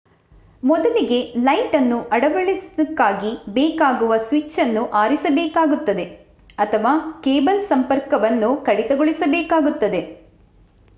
ಮೊದಲಿಗೆ ಲೈಟನ್ನು ಅಳವಡಿಸಲಿಕ್ಕಾಗಿ ಬೇಕಾಗುವ ಸ್ವಿಚ್ಚನ್ನು ಆರಿಸಬೇಕಾಗುತ್ತದೆ ಅಥವಾ ಕೇಬಲ್ ಸಂಪರ್ಕವನ್ನು ಕಡಿತಗೊಳಿಸಬೇಕಾಗುತ್ತದೆ